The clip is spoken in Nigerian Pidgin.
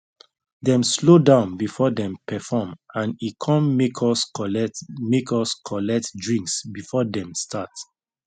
dem slow down before them perform and e come make us collect make us collect drinks before dem start